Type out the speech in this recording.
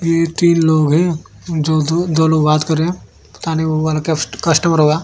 ये तीन लोग हैं दो लोग बात कर रहे हैं वह कस कस्टमर होगा।